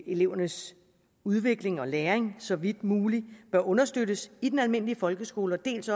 elevernes udvikling og læring så vidt muligt bør understøttes i den almindelige folkeskole dels